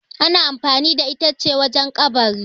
ana amfani da ita ce wajen kabari